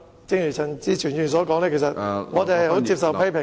正如陳志全議員所說，我們願意接受批評......